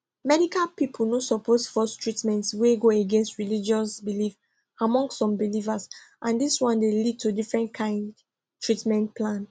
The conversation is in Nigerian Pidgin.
medical people no suppose force treatment wey go against religious belief among some believers and this one dey lead to different kind treatment plan